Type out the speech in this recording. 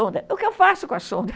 o que eu faço com a sonda?